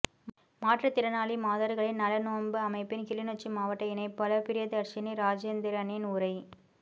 மாற்றுத்திறனாளி மாதர்களின் நலனோம்பு அமைப்பின் கிளிநொச்சி மாவட்ட இணைப்பாளர் பிரியதர்ஷினி இராஜேந்திரனின் உரை